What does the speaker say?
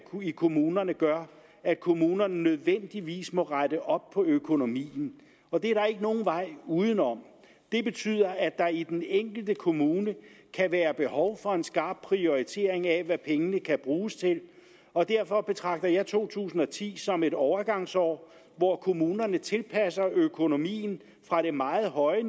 kommunerne gør at kommunerne nødvendigvis må rette op på økonomien og det er der ikke nogen vej uden om det betyder at der i den enkelte kommune kan være behov for en skarp prioritering af hvad pengene kan bruges til og derfor betragter jeg to tusind og ti som et overgangsår hvor kommunerne tilpasser økonomien fra det meget høje